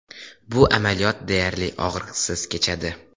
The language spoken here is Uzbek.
Bu amaliyot deyarli og‘riqsiz kechadi.